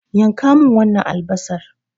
Yanka min wannan albasan.